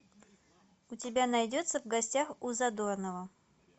у тебя найдется в гостях у задорнова